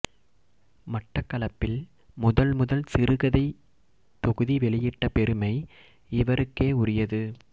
மட்டக்களப்பில் முதல்முதல் சிறுகதை தொகுதி வெளியிட்ட பெருமை இவருக்கே உரியது